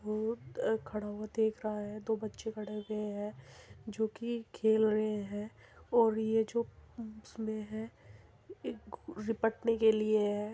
खड़ा हुआ देख रहा है। दो बच्चे खड़े हुएँ हैं जोकि खेल रहें हैं। ओर ये जो उसमें है रिपटने के लिए है।